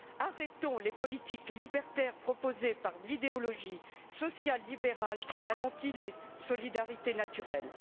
Arrêtons les politiques libertaires proposées par l'idéologie sociale libérale qui anéantit les solidarités naturelles.